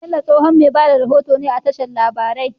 Bello tsohon me bada rahoto ne a tashar labarai